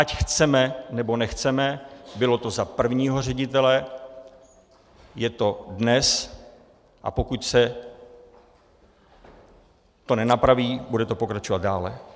Ať chceme, nebo nechceme, bylo to za prvního ředitele, je to dnes, a pokud se to nenapraví, bude to pokračovat dále.